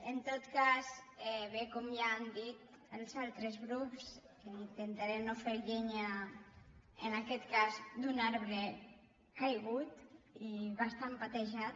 en tot cas bé com ja han dit els altres grups intentaré no fer llenya en aquest cas d’un arbre caigut i bastant patejat